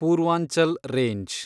Purvanchal range